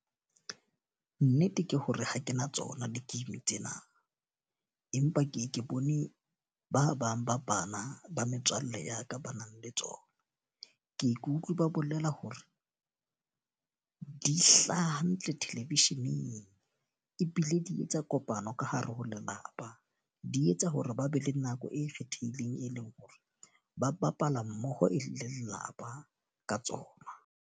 Nnete ke hore ha ke na tsona di-game tsena. Empa ke ke bone ba bang ba bana ba metswalle ya ka ba nang le tsona. Ke ye ke utlwi ba bolela hore di hlaha hantle television-eng. Ebile di etsa kopano ka hare ho lelapa, di etsa hore ba be le nako e kgethehileng e leng hore ba bapala mmoho e le lelapa ka tsona.